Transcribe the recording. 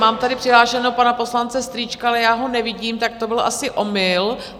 Mám tady přihlášeného pana poslance Strýčka, ale já ho nevidím, tak to byl asi omyl.